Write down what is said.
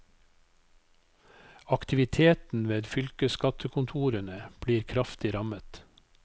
Aktiviteten ved fylkesskattekontorene blir kraftig rammet.